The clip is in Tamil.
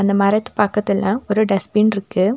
மரத்து பக்கத்துல ஒரு டஸ்ட்பின் இருக்கு.